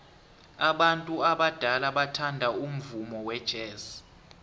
abantu abadala bathanda umvumo wejazz